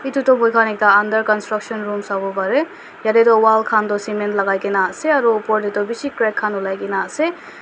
edu tu moikhan ekta under construction room sawo parae yatae toh wall khantoh cement lakai kaena ase aro opor tae toh bishi crack khan olai kaena ase.